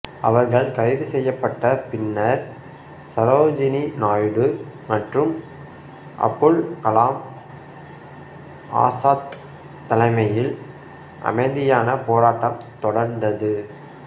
அவர்கள் கைது செய்யப்பட்ட பின்னர் சரோஜினி நாயுடு மற்றும் அபுல் கலாம் ஆசாத் தலைமையில் அமைதியான போராட்டம் தொடர்ந்தது